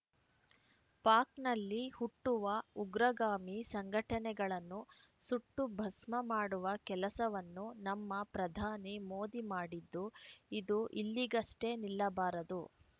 ಪಾಕ್‌ನಲ್ಲಿ ಹುಟ್ಟುವ ಉಗ್ರಗಾಮಿ ಸಂಘಟನೆಗಳನ್ನು ಸುಟ್ಟು ಭಸ್ಮ ಮಾಡುವ ಕೆಲಸವನ್ನು ನಮ್ಮ ಪ್ರಧಾನಿ ಮೋದಿ ಮಾಡಿದ್ದು ಇದು ಇಲ್ಲಿಗಷ್ಟೇ ನಿಲ್ಲಬಾರದು